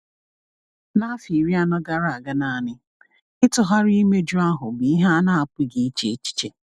N’afọ iri anọ gara aga naanị, ịtụgharị imeju ahụ bụ ihe a na-apụghị iche echiche.